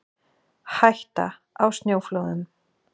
Hætta á snjóflóðum